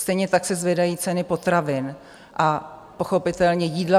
Stejně tak se zvedají ceny potravin a pochopitelně jídla.